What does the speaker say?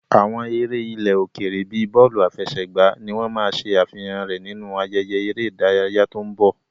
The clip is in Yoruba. Àwọn eré ilẹ̀ òkèèrè bíi bọ́ọ̀lù àfẹsẹ̀gbá ni wọ́n máa ṣe àfihàn rẹ̀ nínú ayẹyẹ eré ìdárayá tó ń bọ̀.